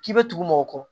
K'i bɛ tugu mɔgɔ kɔ